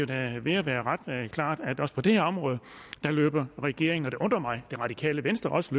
da er ved at være ret klart at også på det her område løber regeringen og det undrer mig det radikale venstre også